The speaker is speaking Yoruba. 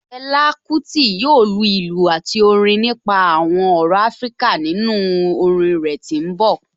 Fela Kuti yoo lu ilu ati Orin nipa awọn ọrọ Afirika ninu orin rẹ ti n bọ